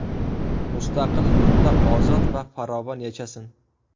Mustaqil yurtda ozod va farovon yashasin.